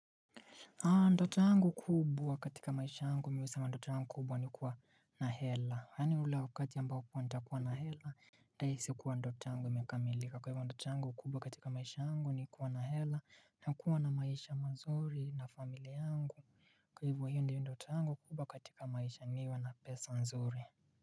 Ndota yangu kubwa katika maisha yangu mi husema ndota yangu kubwa ni kuwa na hela. Yaani ule wakati ambao kuwa nitakuwa na hela. Nahisi kuwa ndoto yangu imekamilika kwa hivyo ndoto yangu kubwa katika maisha yangu ni kuwa na hela. Na kuwa na maisha manzuri na familia yangu. Kwa hivyo hio ndio ndota yangu kubwa katika maisha niwa na pesa nzuri.